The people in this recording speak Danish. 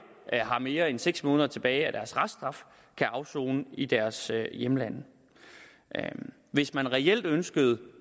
har mere end seks måneder tilbage af deres reststraf kan afsone i deres hjemlande hvis man reelt ønskede